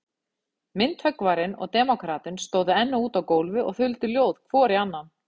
Myndhöggvarinn og demókratinn stóðu enn úti á gólfi og þuldu ljóð hvor í annan.